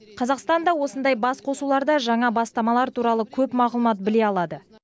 қазақстан да осындай басқосуларда жаңа бастамалар туралы көп мағлұмат біле алады